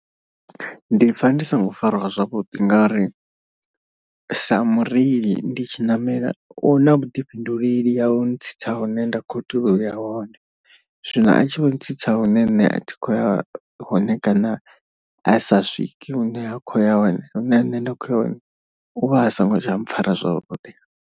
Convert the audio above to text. Ndi pfha ndi songo fariwa zwavhuḓi ngauri sa mureili ndi tshi ṋamela u na vhuḓifhinduleli ha u ntsitsa hune nda kho tea uya hone. Zwino a tshi vho ntsitsa hune nṋe a thi khoya hone kana a sa swike hune ha khou ya hone hune nṋe nda khoya hone, u vha a songo tsha mpfhara zwavhuḓi.